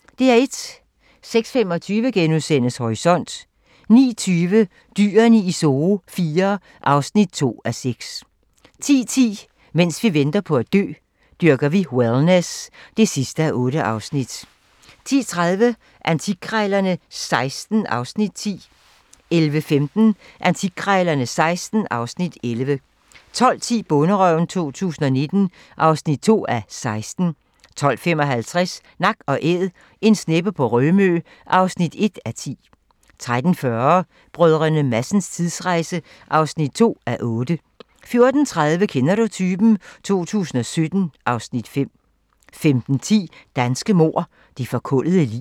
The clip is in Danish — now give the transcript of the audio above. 06:25: Horisont * 09:20: Dyrene i Zoo IV (2:6) 10:10: Mens vi venter på at dø - Dyrker vi wellness (8:8) 10:30: Antikkrejlerne XVI (Afs. 10) 11:15: Antikkrejlerne XVI (Afs. 11) 12:10: Bonderøven 2019 (2:16) 12:55: Nak & Æd - en sneppe på Rømø (1:10) 13:40: Brdr. Madsens tidsrejse (2:8) 14:30: Kender du typen? 2017 (Afs. 5) 15:10: Danske mord - det forkullede lig